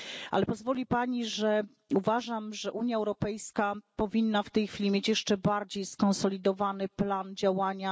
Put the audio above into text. Ale pozwoli Pani, że uważam, że Unia Europejska powinna w tej chwili mieć jeszcze bardziej skonsolidowany plan działania.